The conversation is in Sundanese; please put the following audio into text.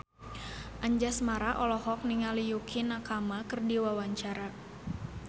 Anjasmara olohok ningali Yukie Nakama keur diwawancara